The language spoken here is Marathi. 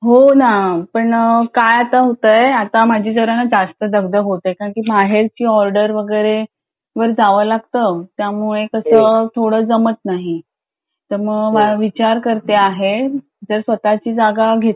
हो ना पण काय आता होतंय आता माझी जरा जास्त दगदग होतेय कारण बाहेरची ऑर्डर वैगरे जावं लागतं त्यामुळे कसं थोडं जमत नाही तर मग विचार करते आहे जर स्वतची जागा घेतली